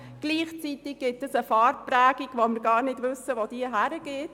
Gleichzeitig gibt es eine Prägung, von der wir gar nicht wissen, wohin sie führt.